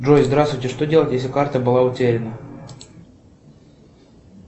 джой здравствуйте что делать если карта была утеряна